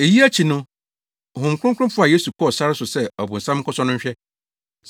Eyi akyi no, Honhom Kronkron faa Yesu kɔɔ sare so sɛ ɔbonsam nkɔsɔ no nhwɛ.